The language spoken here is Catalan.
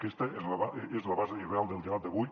aquesta és la base real del debat d’avui